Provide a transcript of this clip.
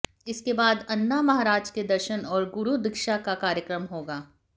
इसके बाद अण्णा महाराज के दर्शन और गुरु दीक्षा का कार्यक्रम होगा